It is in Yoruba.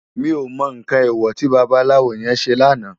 Mi ó mò nkán éwò ti babalawo yèn sé làná